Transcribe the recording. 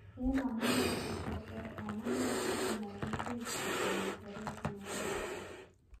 Ene amuneeisieg cheter amunee sikomogigei chiito ngereet neunoton.